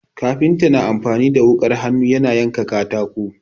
Kafinta na amfani da wuƙar hannu yana yanka katako.